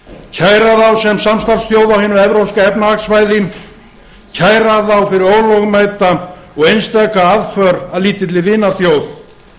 kæra þá sem samstarfsþjóð á hinu evrópska efnahagssvæði kæra þá fyrir ólögmæta og einstaka aðför að lítilli vinaþjóð